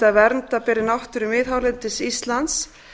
að vernda beri náttúru miðhálendis íslands